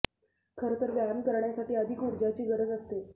खरं तर व्यायाम करण्यासाठी अधिक ऊर्जा ची गरज असते